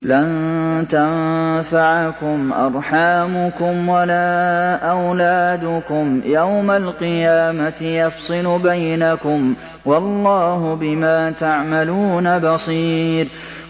لَن تَنفَعَكُمْ أَرْحَامُكُمْ وَلَا أَوْلَادُكُمْ ۚ يَوْمَ الْقِيَامَةِ يَفْصِلُ بَيْنَكُمْ ۚ وَاللَّهُ بِمَا تَعْمَلُونَ بَصِيرٌ